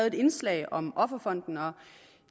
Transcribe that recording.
et indslag om offerfonden og